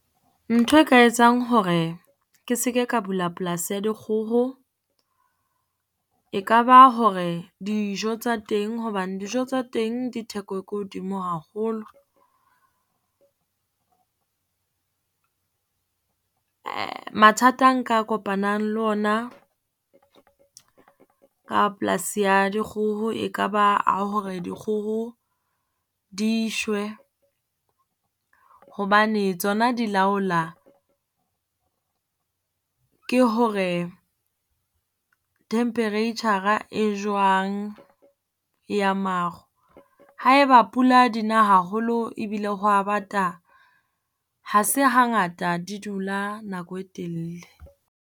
Ntho e ka etsang hore ke seke ka bula polasi ya dikgoho, e kaba hore dijo tsa teng. Hobane dijo tsa teng ditheko e ko hodimo haholo. Mathata a nka kopanang le ona ka polasi ya dikgoho e ka ba a hore dikgoho di shwe, hobane tsona di laola ke hore temperature-a e jwang ya maru. Ha e ba pula dina haholo ebile ho a bata, ha se hangata di dula nako e telele.